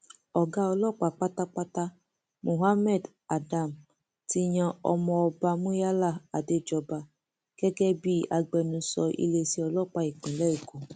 ọgá ọlọpàá pátápátá muhammed adam ti yan ọmọọba muyala adéjọba gẹgẹ bíi agbẹnusọ iléeṣẹ ọlọpàá ìpínlẹ èkó